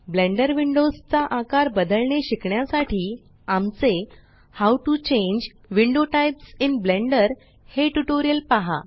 blender windows चा आकार बदलणे शिकण्यासाठी आमचे how to change window types in Blender हे ट्यूटोरियल पहा